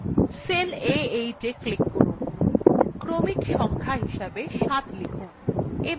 cell a8we click করুন এবং ক্রমিক সংখ্যা হিসাবে ৭ লিখুন